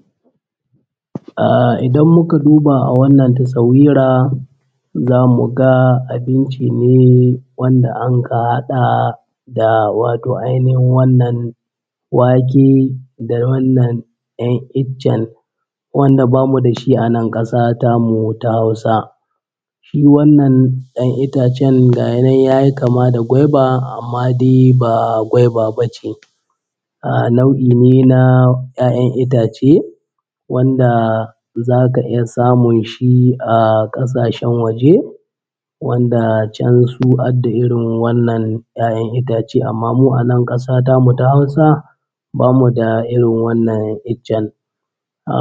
Zai taho inda ad da ruwa ‘yan kaɗan wurin da basu da yawa sannan inda ad da ɗan laka-laka ya taho ya duƙa yana sa hannuwan sa yana ɗan daddahwawa yana ɗan daddahwawa. Saboda gurɓcewar ruwa kihi yak an shiga ya ɗan lahe amin ruwa su kwanta ya tahi saboda ya ji ana motsi. Toh mutum zai taho bakin gaɓa ta ruwa inda babu ruwa da yawa sai ya taho ya sa hannuwa nai yana daddahwawa yana daddahwawa yana lalabawa da ya ji matsin kihi sai ya yi maza-maza ya damƙe shi in ya damƙe shi sai ya ɗago shi sama ya sa shi cikin kwano ne ko kuma cikin gora tai. Wannan shi ake kira da lalibe idan mun duba gahi nan wannan mutumin ya yo lalabe ya kamo kundume ga hi nan ya ɗaga shi sama wannan kenan. Ahh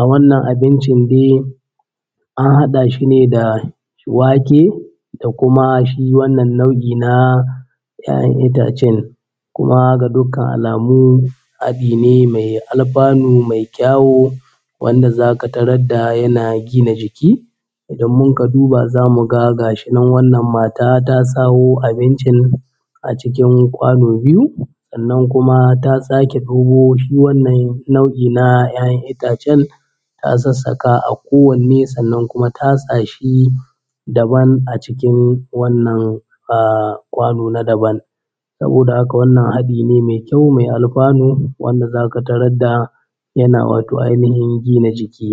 wannan abincin dai an haɗa shi ne da wake da kuma shi wannan nau’i na ‘ya’yan itacen kuma ga dukkan alamu haɗi ne mai alfanu mai kyawo wanda zaka tarad da yana gina jiki. Idan mun ka duba za mu ga gashi nan wannan mata ta sawo abincin a cikin kwano biyu sannan kuma ta sake ɗago shi wannan nau’i ‘ya’yan itacen ta sassaka a kowanne sannan kuma tatsa shi daban a cikin wannan ahh kwano na daban. Saboda haka wannan haɗi ne mai kyau mai alfanu wanda za ka tarad da yana wato ainihin gina jiki.